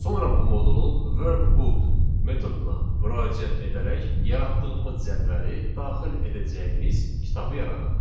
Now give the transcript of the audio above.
Sonra bu modulun workbook metoduna müraciət edərək yaratdığımız cədvəli daxil edəcəyimiz kitabı yaradaq.